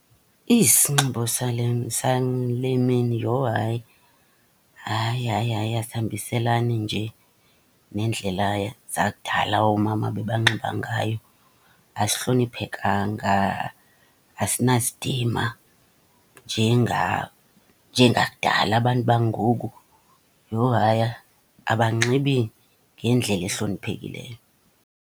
Isinxibo sale, sale mini yho hayi. Hayi, hayi, hayi asihambiselani nje neendlela zakudala oomama abebanxiba ngayo, asihloniphekanga, asinasidima njengakudala. Abantu bangoku, yho hayi abanxibi ngendlela ehloniphekileyo.